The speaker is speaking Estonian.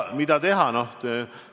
Nüüd, mida teha?